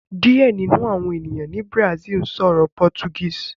Diẹ ninu awọn eniyan ni Brazil sọrọ Portuguese